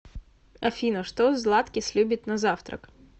афина что златкис любит на завтрак